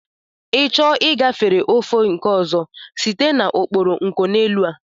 I chọọ ịgafere ofe ụzọ nke ọzọ, site n'okporo nkoneelu a!